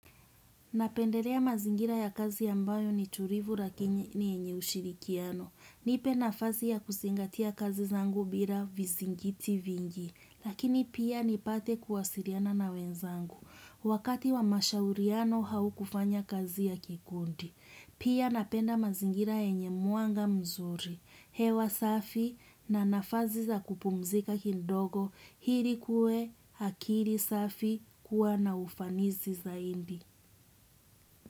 Napendelea mazingira ya kazi ambayo ni tulivu lakiniy enye ushirikiano. Nipe nafasi ya kuzingatia kazi zangu bila vizingiti vingi. Lakini pia nipate kuwasiliana na wenzangu. Wakati wa mashauriano au kufanya kazi ya kikundi. Pia napenda mazingira yenye mwanga mzuri. Hewa safi na nafasi za kupumzika kidogo ili kuwe akili safi kuwa na ufanisi zaidi.